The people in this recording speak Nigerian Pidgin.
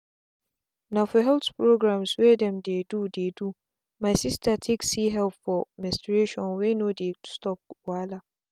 na for health programmes wey dem dey do dey do my sister take see help for menstruation wey no dey quick stop wahala.